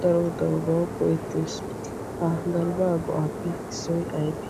daro darobawu go'ettes. Ha galbbaa go'aappe issoy ayibee?